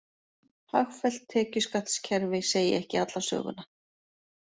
Hagfellt tekjuskattskerfi segi ekki alla söguna